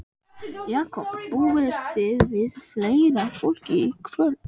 Jakob, búist þið við fleira fólki í kvöld?